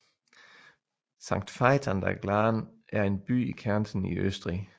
Sankt Veit an der Glan er en by i Kärnten i Østrig